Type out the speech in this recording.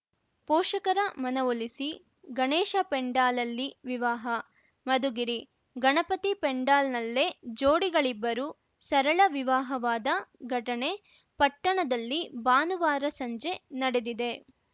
ಪೋಷಕರ ಮನವೊಲಿಸಿ ಗಣೇಶ ಪೆಂಡಾಲಲ್ಲಿ ವಿವಾಹ ಮಧುಗಿರಿ ಗಣಪತಿ ಪೆಂಡಾಲ್‌ನಲ್ಲೇ ಜೋಡಿಗಳಿಬ್ಬರು ಸರಳ ವಿವಾಹವಾದ ಘಟನೆ ಪಟ್ಟಣದಲ್ಲಿ ಭಾನುವಾರ ಸಂಜೆ ನಡೆದಿದೆ